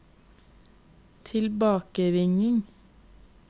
tilbakeringing